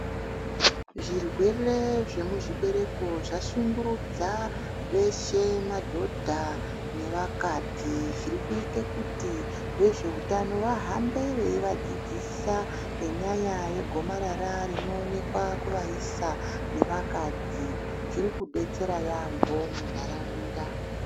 Zvirwere zvemuzvibereko zvashungurudza veshe madhodha nevakadzi zvirikuite kuti vezveutano vahambe veivadzidzisa ngenyaya yegomarara rinoonekwa kuvaisa nevakadzi zviro kudetsera yambo muntaraunda.